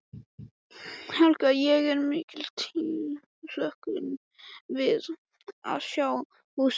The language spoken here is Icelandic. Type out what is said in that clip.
Helga: Og er mikil tilhlökkun við að sjá húsið hverfa?